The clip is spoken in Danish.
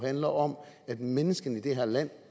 handler om at menneskene i det her land